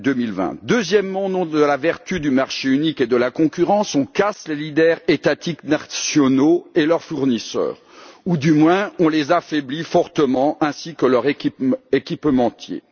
2020. Deuxièmement, au nom de la vertu du marché unique et de la concurrence, on casse les leaders étatiques nationaux et leurs fournisseurs, ou du moins on les affaiblit fortement, ainsi que leurs équipementiers.